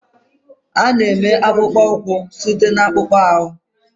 Ọ na-eme akpụkpọ ụkwụ site na akpụkpọ anụ